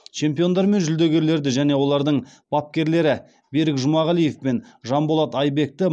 чемпиондар мен жүлдегерлерді және олардың бапкерлері берік жұмағалиев пен жанболат айбекті